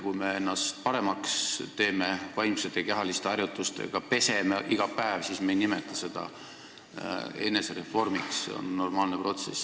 Kui me ennast vaimsete ja kehaliste harjutustega paremaks teeme ja ennast iga päev peseme, siis me ei nimeta seda enesereformiks, vaid see on normaalne protsess.